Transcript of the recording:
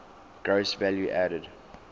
gross value added